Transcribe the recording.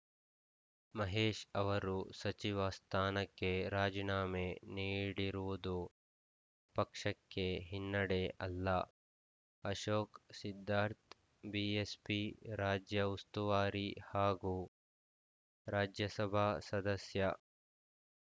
ಮಹೇಶ್‌ ಅವರು ಸಚಿವ ಸ್ಥಾನಕ್ಕೆ ರಾಜೀನಾಮೆ ನೀಡಿರುವುದು ಪಕ್ಷಕ್ಕೆ ಹಿನ್ನಡೆ ಅಲ್ಲ ಅಶೋಕ್‌ ಸಿದ್ಧಾರ್ಥ ಬಿಎಸ್‌ಪಿ ರಾಜ್ಯ ಉಸ್ತುವಾರಿ ಹಾಗೂ ರಾಜ್ಯಸಭಾ ಸದಸ್ಯ